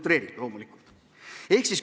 See oli loomulikult utreering.